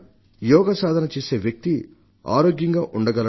యోగ సాధన చేసే వ్యక్తి ఆరోగ్యంగా ఉండగలడు